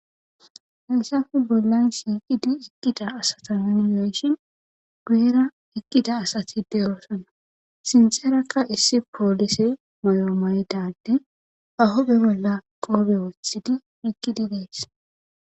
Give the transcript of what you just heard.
Hayssafu bollan siiqidi iqqida asatannimenshin guyera ekkida asatide oosana sinseerakka issi poolise moyo mayidade ahobe bolla qoobe woothidi iqqidi dees.